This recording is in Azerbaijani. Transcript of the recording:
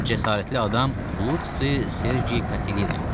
Bu cəsarətli adam Lusi Sergi Katilina idi.